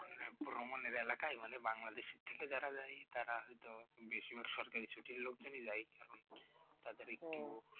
রোমানের এলাকায় মানে বাংলাদেশে থেকে যারা যায় তারা হয়তো বেশিরভাগ সরকারি ছুটি নে নিয়ে যায় এখন তাদের একটি